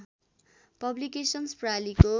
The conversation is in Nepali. पब्लिकेसन्स प्रालिको